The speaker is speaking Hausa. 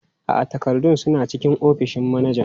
A'a, takardun suna cikin ofishin manajan.